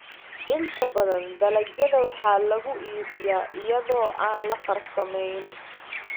Inta badan dalagyada waxa lagu iibiyaa iyada oo aan la farsamayn.